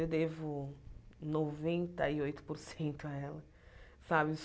Eu devo noventa e oito por cento a ela. Falo isso